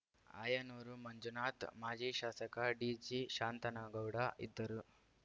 ಆಯನೂರು ಮಂಜುನಾಥ್‌ ಮಾಜಿ ಶಾಸಕ ಡಿಜಿ ಶಾಂತನಗೌಡ ಇದ್ದರು